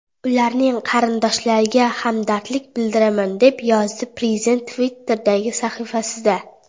Ularning qarindoshlariga hamdardlik bildiraman”, deb yozdi prezident Twitter’dagi sahifasida.